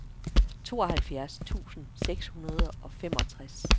tooghalvfjerds tusind seks hundrede og femogtres